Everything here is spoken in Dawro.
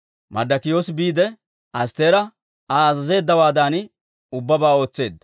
Marddokiyoosi biide, Astteera Aa azazeeddawaadan ubbabaa ootseedda.